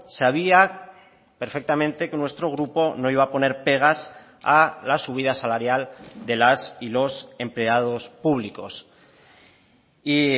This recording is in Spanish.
sabía perfectamente que nuestro grupo no iba a poner pegas a la subida salarial de las y los empleados públicos y